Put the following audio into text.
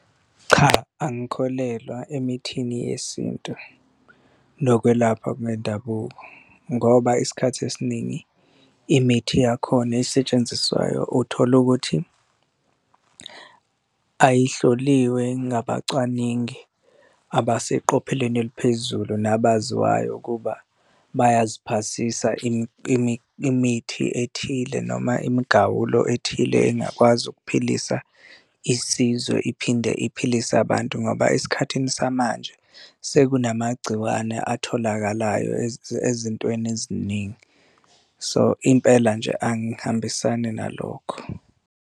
Cha, angikholelwa emithini yesintu nokwelapha kwendabuko, ngoba isikhathi esiningi imithi yakhona esetshenziswayo uthole ukuthi ayihloliwe ngabacwaningi abaseqopheleni eliphezulu nabaziwayo ukuba bayaziphasisa imithi ethile noma imigawulo ethile engakwazi ukuphilisa isizwe iphinde iphilise abantu ngoba esikhathini samanje sekunamagciwane atholakalayo ezintweni eziningi. So, impela nje angihambisani nalokho.